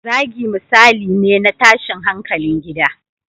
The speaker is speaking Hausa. Zagi misali ne na tashin hankalin gida